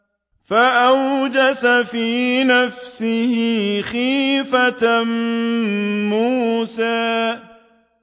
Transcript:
فَأَوْجَسَ فِي نَفْسِهِ خِيفَةً مُّوسَىٰ